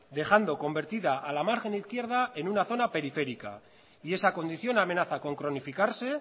dejando convertida a la margen izquierda en una zona periférica y esa condición amenaza con cronificarse